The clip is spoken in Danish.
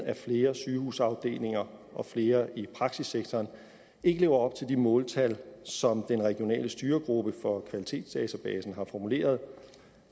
at flere sygehusafdelinger og flere i praksissektoren ikke lever op til de måltal som den regionale styregruppe for kvalitetsdatabasen har formuleret